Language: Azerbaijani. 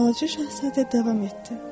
Balaca Şahzadə davam etdi.